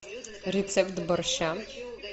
рецепт борща